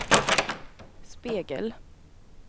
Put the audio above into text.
spegel